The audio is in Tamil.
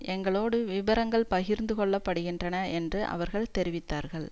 எங்களோடு விபரங்கள் பகிர்ந்து கொள்ளப்பட்டிருக்கின்றன என்று அவர்கள் தெரிவித்தார்கள்